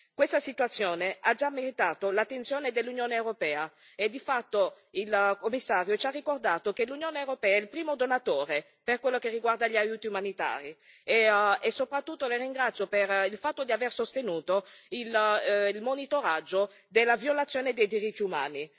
Questa situazione ha già meritato l'attenzione dell'Unione europea e di fatto il Commissario ci ha ricordato che l'Unione europea è il primo donatore per quello che riguarda gli aiuti umanitari e, soprattutto, la ringrazio per il fatto di aver sostenuto il monitoraggio della violazione dei diritti umani.